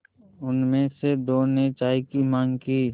उनमें से दो ने चाय की माँग की